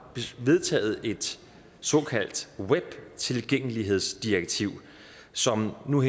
vedtaget et såkaldt webtilgængelighedsdirektiv som nu